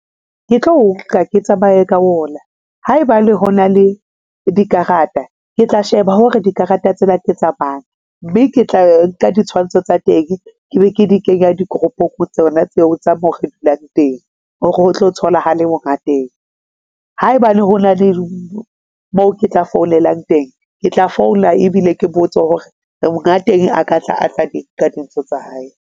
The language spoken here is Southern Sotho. Ke tlo o nka ke tsamaye ka ona. Ha e bane ho na le dikarata, ke tla sheba hore dikarata tsena ke tsa mang, mme ke tla nka ditshwantsho tsa teng. Ke be ke di kenya di-group-ung tsona tseo tsa moo re dulang teng hore ho tlo thola ha le mongateng. Haebane ho na le mo ke tla founelang teng, ke tla founa ebile ke botse hore mongateng a ka tla a tla di nka dintho tsa hae.